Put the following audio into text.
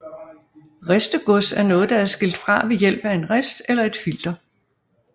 Ristegods er noget der er skilt fra ved hjælp af en rist eller et filter